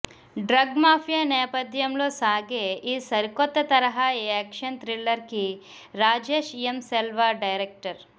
drug mafia నేపధ్యంలో సాగే ఈ సరికొత్త తరహా యాక్షన్ థ్రిల్లర్ కి రాజేష్ ఎం సెల్వ డైరెక్టర్